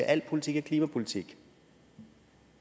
al politik er klimapolitik